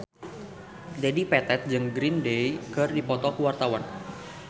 Dedi Petet jeung Green Day keur dipoto ku wartawan